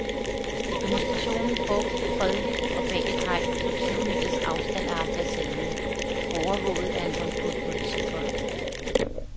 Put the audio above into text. Demonstrationen foregik fredeligt og bag et hegn på tyve meters afstand af ambassaden, overvåget af en håndfuld politifolk.